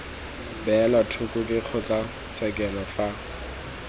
beelwa thoko ke kgotlatshekelo fa